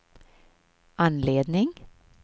anledning